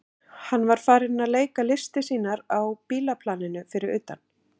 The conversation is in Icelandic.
Hann var farinn að leika listir sínar á bílaplaninu fyrir utan.